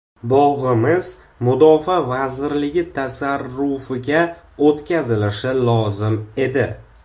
Bog‘imiz Mudofaa vazirligi tasarrufiga o‘tkazilishi lozim edi.